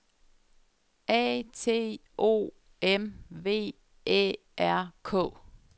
A T O M V Æ R K